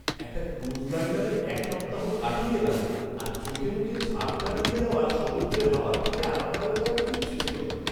একটা ক্রুজ লাইনারে এক সপ্তাহ কাটিয়ে এলাম, আর চোখেমুখে ঝাপ্টা দিয়ে যাওয়া সমুদ্রের হাওয়ার থেকে আরামদায়ক আর কিচ্ছু ছিল না।